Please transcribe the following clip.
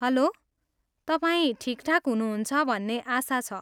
Hello, तपाईँ ठिकठाक हुनुहुन्छ भन्ने आशा छ।